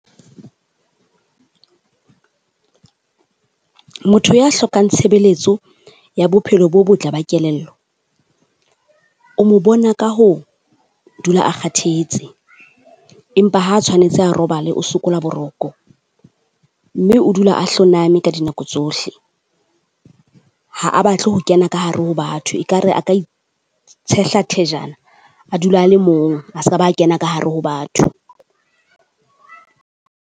Motho ya hlokang tshebeletso ya bophelo bo botle ba kelello, o mo bona ka ho dula a kgathetse empa ha tshwanetse a robale o sokola boroko. Mme o dula a hloname ka dinako tsohle. Ha a batle ho kena ka hare ho batho ekare a ka itshehla thejana a dula a le mong, a ska ba kena ka hare ho batho.